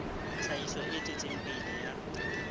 tlhahiso e tswetseng pele ya